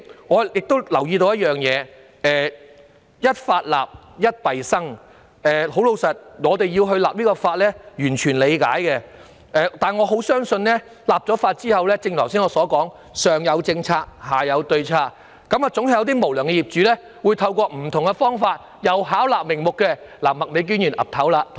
我亦注意到"一法立，一弊生"，我們雖完全理解制定是項法例的需要，但亦深信在立法後會出現剛才所說的上有政策，下有對策的情況，總會有無良業主透過不同方法再次試圖巧立名目。